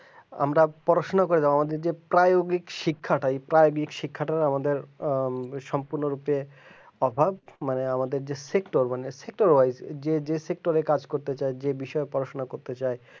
আমরা পড়াশোনা করব আমাদের যে পাইওরিক শিক্ষাটা পাইওরিক শিক্ষাটা আমাদের আ সম্পূর্ণরূপ অভাব বা আমাদের যে যে সিস্টেম বাজছে যে সিস্টেমে কাজ করতে চাই যে বিষয়ে পড়াশোনা করতে চাই